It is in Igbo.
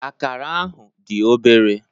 Akara ahụ dị obere.